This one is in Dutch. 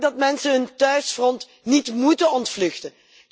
Maak dat mensen hun thuisfront niet moeten ontvluchten.